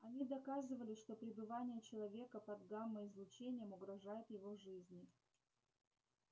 они доказывали что пребывание человека под гамма излучением угрожает его жизни